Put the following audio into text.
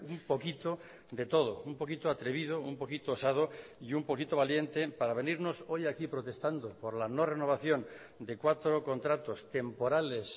un poquito de todo un poquito atrevido un poquito osado y un poquito valiente para venirnos hoy aquí protestando por la no renovación de cuatro contratos temporales